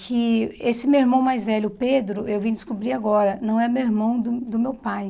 que esse meu irmão mais velho, Pedro, eu vim descobrir agora, não é meu irmão do do meu pai.